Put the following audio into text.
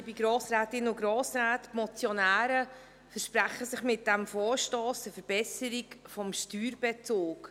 Die Motionäre versprechen sich von diesem Vorstoss eine Verbesserung des Steuerbezugs.